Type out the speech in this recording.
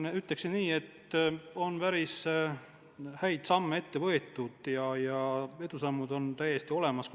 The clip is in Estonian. " Ma ütleksin, et on päris häid meetmeid võetud ja edusammud on täiesti olemas.